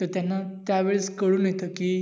तर त्यांना त्या वेळी कळून येत कि,